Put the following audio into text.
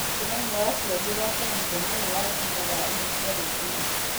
Mũcemanio wa aciari ũgaakorũo mũthenya ũyũ wa juma thaa inya cia rũcinĩ.